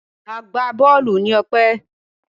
Agbá-bọ́ọ́lù ni Ọpẹ́.